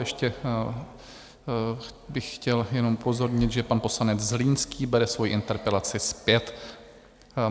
Ještě bych chtěl jenom upozornit, že pan poslanec Zlínský bere svoji interpelaci zpět.